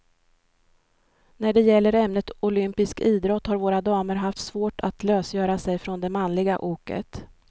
När det gäller ämnet olympisk idrott har våra damer haft svårt att lösgöra sig från det manliga oket.